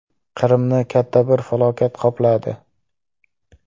Qrimni katta bir falokat qopladi.